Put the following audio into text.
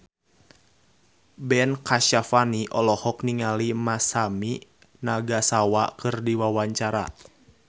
Ben Kasyafani olohok ningali Masami Nagasawa keur diwawancara